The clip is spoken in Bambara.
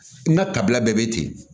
N ka tabiya bɛɛ be ten